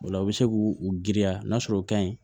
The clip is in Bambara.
O la u be se k'u u girin ka n'a sɔrɔ u ka ɲi